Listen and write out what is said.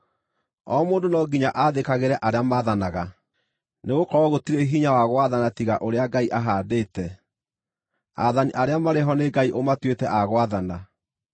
O mũndũ no nginya athĩkagĩre arĩa maathanaga, nĩgũkorwo gũtirĩ hinya wa gwathana tiga ũrĩa Ngai ahaandĩte. Aathani arĩa marĩ ho nĩ Ngai ũmatuĩte a gwathana.